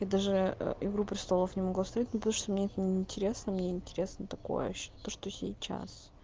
я даже игру престолов не могу оставить ну потому что мне это неинтересно мне интересно такое то что сейчас